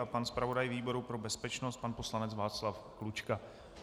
A pan zpravodaj výboru pro bezpečnost pan poslanec Václav Klučka.